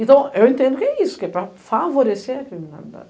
Então, eu entendo que é isso, que é para favorecer a criminalidade.